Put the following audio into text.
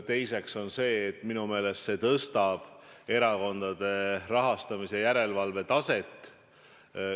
Teiseks, minu meelest see muudatus tõstab erakondade rahastamise järelevalve taset.